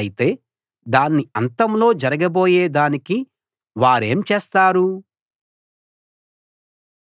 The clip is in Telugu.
అయితే దాని అంతంలో జరగబోయే దానికి వారేం చేస్తారు